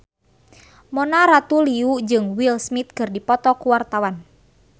Mona Ratuliu jeung Will Smith keur dipoto ku wartawan